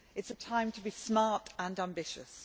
It is a time to be smart and ambitious.